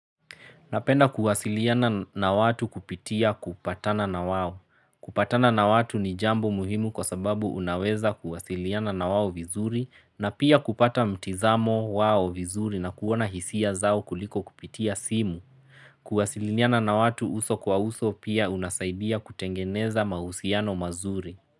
Napenda kuwasiliana na watu kupitia kupatana na wao. Kupatana na watu ni jambo muhimu kwa sababu unaweza kuwasiliana na wao vizuri na pia kupata mtizamo wao vizuri na kuona hisia zao kuliko kupitia simu. Kuwasiliana na watu uso kwa uso pia kunasaidia kutengeneza mahusiano mazuri.